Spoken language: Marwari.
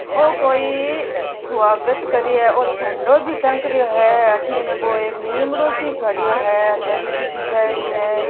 ऊ कोई स्वागत करिए ओ झंडो बी टंग रो है ऐठन नीमडो सो खडियो है दरी बिछाई है।